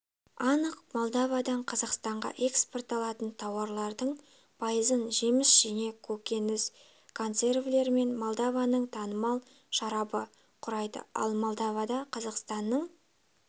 анық молдовадан қазақстанға экспортталатын тауарлардың пайызын жеміс-жидек көкөніс консервілер мен молдованыңтанымалшарабы құрайды ал молдовада қазақстанның